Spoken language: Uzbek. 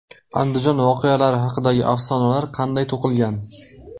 Andijon voqealari haqidagi afsonalar qanday to‘qilgan?.